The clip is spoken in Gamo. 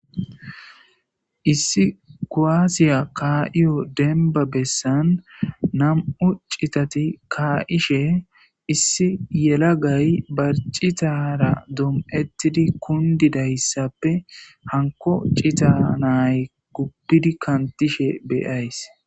Issi koaasiya kaa7iyo denba bessan nam7u citati kaa7ishe issi yelagay barcitara dom7ettidi kundidayssappe hanko cita nay gubbidi kantishe beyays.